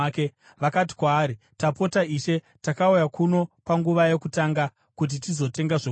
Vakati kwaari, “Tapota ishe, takauya kuno panguva yokutanga kuti tizotenga zvokudya.